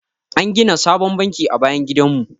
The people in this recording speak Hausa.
An gina sabon banki a bayan gidan mu.